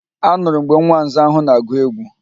Anụrụ m mgbe nwa nza ahụ na-agụ egwu